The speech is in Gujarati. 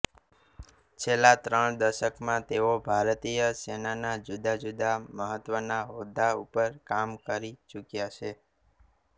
છેલ્લા ત્રણ દશકમાં તેઓ ભારતીય સેનાના જુદા જુદા મહત્વના હોદ્દા ઉપર કામ કરી ચુક્યા છે